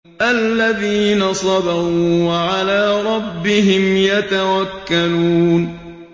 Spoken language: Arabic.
الَّذِينَ صَبَرُوا وَعَلَىٰ رَبِّهِمْ يَتَوَكَّلُونَ